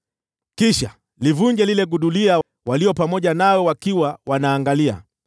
“Kisha livunje lile gudulia wale walio pamoja nawe wakiwa wanaangalia,